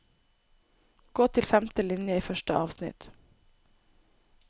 Gå til femte linje i første avsnitt